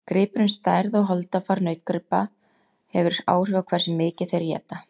Gripurinn Stærð og holdafar nautgripa hefur áhrif á hversu mikið þeir éta.